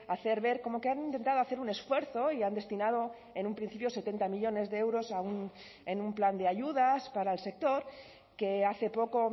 hacer ver como que han intentado hacer un esfuerzo y han destinado en un principio setenta millónes de euros en un plan de ayudas para el sector que hace poco